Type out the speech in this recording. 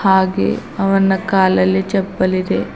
ಹಾಗೆ ಅವನ ಕಾಲಲ್ಲಿ ಚಪ್ಪಲ್ ಇದೆ.